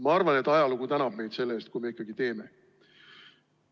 Ma arvan, et ajalugu tänab meid selle eest, kui me ikkagi teeme.